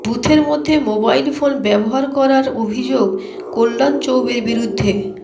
বুথের মধ্যে mobile phone ব্যাবহার করার অভিযোগ কল্যাণ চৌবের বিরুদ্ধে